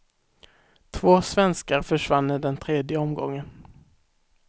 Två svenskar försvann i den tredje omgången.